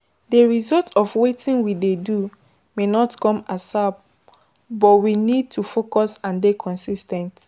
The result of wetin we dey do may not come ASAP but we need to focus and dey consis ten t